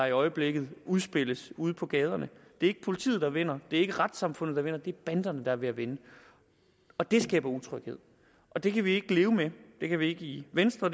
i øjeblikket udspiller sig ude på gaderne det er ikke politiet der vinder det er ikke retssamfundet der vinder det er banderne der er ved at vinde og det skaber utryghed og det kan vi ikke leve med det kan vi ikke i venstre